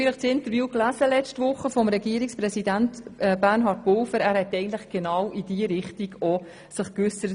Vielleicht haben Sie das Interview mit Regierungspräsident Bernhard Pulver letzte Woche gelesen.